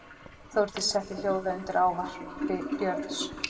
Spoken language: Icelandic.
Þórdísi setti hljóða undir ávarpi Björns.